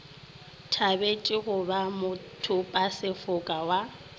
thabetše go ba mothopasefoka wa